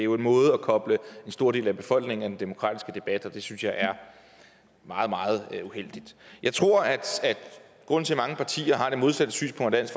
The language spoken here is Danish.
jo en måde at koble en stor del af befolkningen af den demokratiske debat på og det synes jeg er meget meget uheldigt jeg tror at grunden til at mange partier har det modsatte synspunkt af